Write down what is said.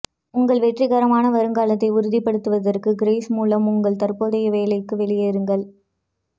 உங்கள் வெற்றிகரமான வருங்காலத்தை உறுதிப்படுத்துவதற்கு கிரேஸ் மூலம் உங்கள் தற்போதைய வேலைக்கு வெளியேறுங்கள்